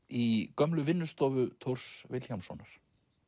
í gömlu vinnustofu Thors Vilhjálmssonar